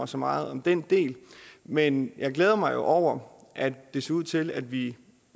så meget om den del men jeg glæder mig jo over at det ser ud til at vi